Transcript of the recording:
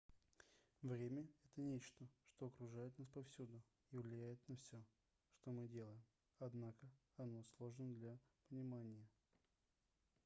время это нечто что окружает нас повсюду и влияет на все что мы делаем однако оно сложно для понимания